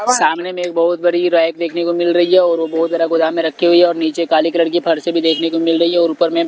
सामने में बहुत बड़ी रैक देखने को मिल रही है और वो बहुत बड़ा गोदाम में रखी हुई है और नीचे काली कलर की फर्श भी देखने को मिल रही है और ऊपर में --